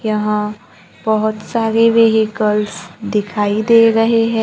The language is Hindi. यहां बहोत सारे व्हीकल्स दिखाई दे रहे है।